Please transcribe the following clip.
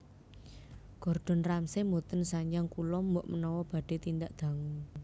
Gordon Ramsay mboten sanjang kula mbok menawa badhe tindak dangu